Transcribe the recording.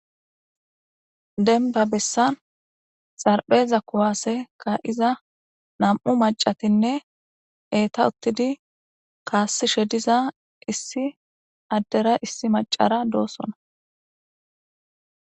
denba bessan xarpheza kuwaaseka7iza nam7u macatinne eeta uttidi kaassishe diza issi addera issi macara doosona